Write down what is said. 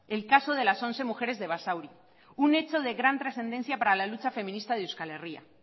el caso de las once mujeres de basauri un hecho de gran trascendencia para la lucha feminista de euskal herria